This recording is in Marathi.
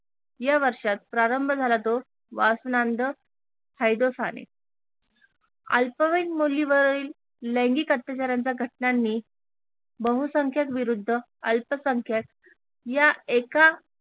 या वर्षात प्रारंभ झाला तो हैदोसाने अल्पवयीन मुलीवरील लैंगिक अत्याचाऱ्यांच्या घटनांनी बहुसंख्यक विरुद्ध अल्पसंख्यक या एका